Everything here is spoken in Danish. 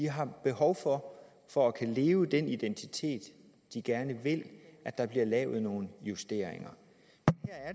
har behov for for at kunne udleve den identitet de gerne vil at der bliver lavet nogle justeringer